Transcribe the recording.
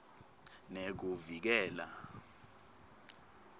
nekuvikela